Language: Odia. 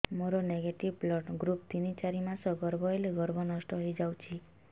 ମୋର ନେଗେଟିଭ ବ୍ଲଡ଼ ଗ୍ରୁପ ତିନ ଚାରି ମାସ ଗର୍ଭ ହେଲେ ଗର୍ଭ ନଷ୍ଟ ହେଇଯାଉଛି